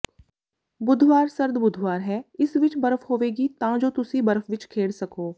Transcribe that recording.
ਬੁੱਧਵਾਰ ਸਰਦ ਬੁਧਵਾਰ ਹੈ ਇਸ ਵਿੱਚ ਬਰਫ਼ ਹੋਵੇਗੀ ਤਾਂ ਜੋ ਤੁਸੀਂ ਬਰਫ ਵਿੱਚ ਖੇਡ ਸਕੋ